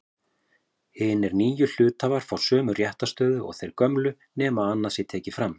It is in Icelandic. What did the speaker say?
Hinir nýju hluthafar fá sömu réttarstöðu og þeir gömlu nema annað sé tekið fram.